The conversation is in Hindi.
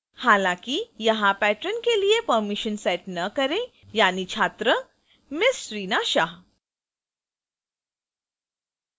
हालांकि यहां patron के लिए permission set न करें यानि छात्र ms reena shah